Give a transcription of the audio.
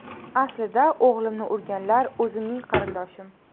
Aslida o‘g‘limni urganlar o‘zimning qarindoshim.